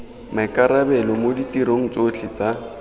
maikarabelo mo ditirong tsotlhe tsa